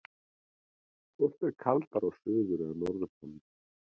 Hvort er kaldara á suður- eða norðurpólnum?